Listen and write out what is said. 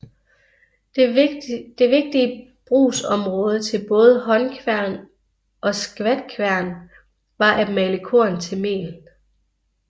Det vigtige brugsområde til både håndkværn og skvatkværn var at male korn til mel